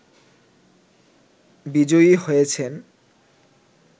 বিজয়ী হয়েছেন